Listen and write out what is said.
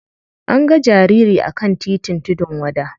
An ga jariri a kan titin tudun wada.